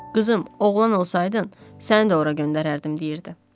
Qızım, oğlan olsaydın, səni də ora göndərərdim deyirdi.